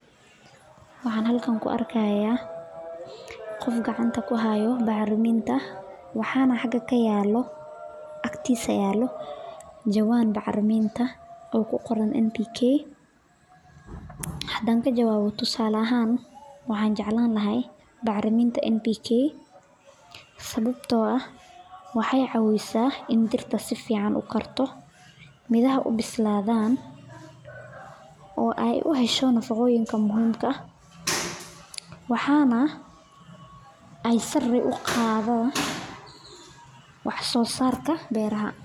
Waxaan halkan ku arkaaya qof gacanta ku haaya bacraminta dabiiciga ah, jawaan bacraminta, hadaan ka jawabo waxaan jeclaan lahaa bacraminta waxeey cawisa in dirta sifican ukoraan, waxeey sare uqadan wax soo saarka beeraha.